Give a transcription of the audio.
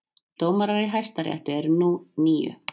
Dómarar í Hæstarétti eru nú níu